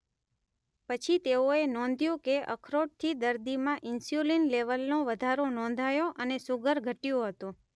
પછી તેઓએ નોધ્યું કે અખરોટથી દર્દીમાં ઇન્સ્યુલીન લેવલનો વધારો નોંધાયો અને શુગર ઘટયું હતું.